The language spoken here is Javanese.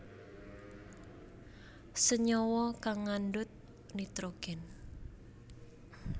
Senyawa kang ngandhut nitrogen